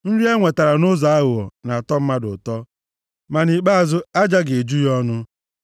Nri e nwetara nʼụzọ aghụghọ na-atọ mmadụ ụtọ. Ma nʼikpeazụ aja ga-eju ya ọnụ.